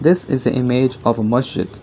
this is the image of masjid.